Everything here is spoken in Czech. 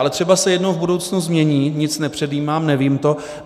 Ale třeba se jednou v budoucnu změní - nic nepředjímám, nevím to.